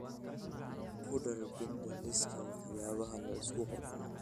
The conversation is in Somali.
ku dar binda liiska waxyaalaha la isku qurxiyo